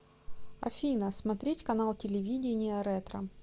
афина смотреть канал телевидения ретро